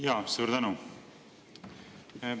Jaa, suur tänu!